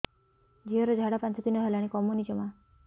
ଝିଅର ଝାଡା ପାଞ୍ଚ ଦିନ ହେଲାଣି କମୁନି ଜମା